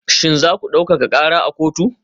Shin za ku daukaka kara a kotu?